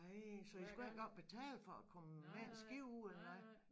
Ej så I skulle ikke engang betale for at komme med et skib ud eller noget